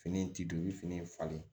Fini in ti don i fini falen